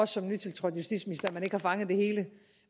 som nytiltrådt justitsminister at man ikke har fanget det hele